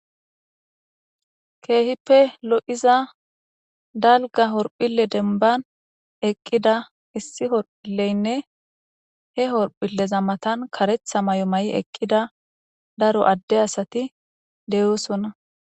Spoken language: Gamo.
Keehippe lo7iza dalga horphille denban eqqida issi horphilleynne he horphilleza matan karetha may7o ma7i eqqida daro adde asati deyoosonna